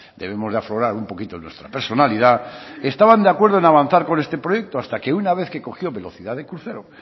debemos de aflorar un poquito nuestra personalidad estaban de acuerdo en avanzar con este proyecto hasta que una vez que cogió velocidad de crucero